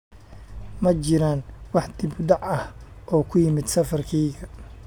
ma jiraan wax dib u dhac ah oo ku yimid safarkayga